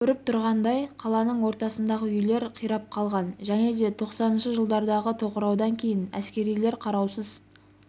көріп тұрғандай қаланың ортасындағы үйлер қирап қалған және де тоқсаныншы жылдардағы тоқыраудан кейін әскерилер қараусыз